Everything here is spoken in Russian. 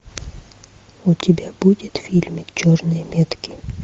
у тебя будет фильм черные метки